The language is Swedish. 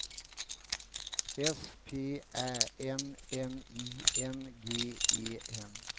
S P Ä N N I N G E N